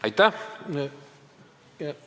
Aitäh!